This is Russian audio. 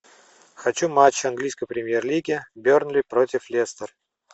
хочу матч английской премьер лиги бернли против лестер